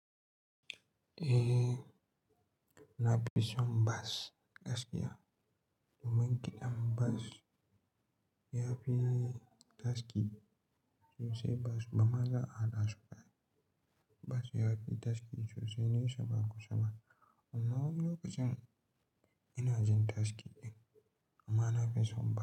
Eh, na fi son bas gaskiya. Domin kiɗan bas ya fi taski sosai. Bas ba ma za a dasu ba. Bas ya fi taski sosai ne sa ba kusaba amma lokacin ina jin taski ɗin amma na fi son bas.